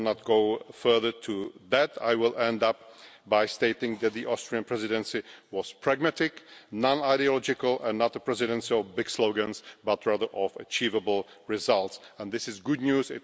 I will not go further into that, but I will end by stating that the Austrian Presidency was pragmatic, non ideological and not a Presidency of big slogans, but rather of achievable results. This is good news.